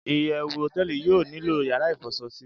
iyewu hoteeli yio nilo yara ifoso si